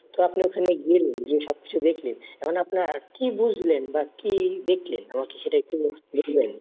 তো আপনি ওখানে গেলেন, গিয়ে সবকিছু দেখলেন। এখন আপনার কি বুঝলেন বা কি দেখলেন আমাকে সেটা একটু বলবেন?